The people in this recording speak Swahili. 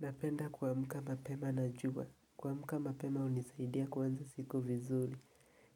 Napenda kuamka mapema najua, kuamka mapema hunisaidia kuanza siku vizuri,